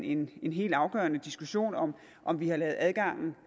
en en helt afgørende diskussion om om vi har lavet adgangen